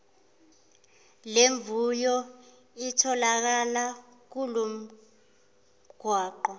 lemvuyo itholakala kulomgwaqo